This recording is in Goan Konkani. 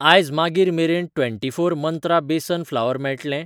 आयज मागीर मेरेन twenty four Mantra besan flour मेळटलें?